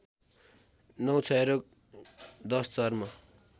९ क्षयरोग १० चर्म